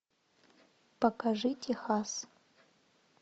покажи техас